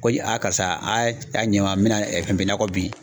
Ko a karisa a' ɲa n ma n mɛna nakɔ bin.